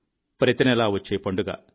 ప్రతి నెలా వచ్చే పండుగ